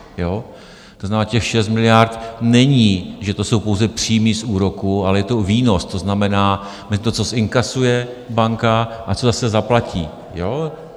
To znamená, těch 6 miliard není, že to jsou pouze příjmy z úroků, ale je to výnos, to znamená to, co inkasuje banka a co zase zaplatí.